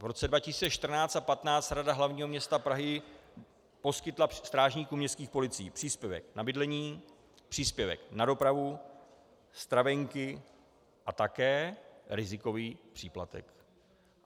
V roce 2014 a 2015 Rada hlavního města Prahy poskytla strážníkům městských policií příspěvek na bydlení, příspěvek na dopravu, stravenky a také rizikový příplatek.